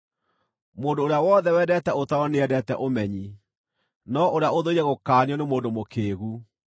Mũndũ ũrĩa wothe wendete ũtaaro nĩendete ũmenyi, no ũrĩa ũthũire gũkaanio nĩ mũndũ mũkĩĩgu.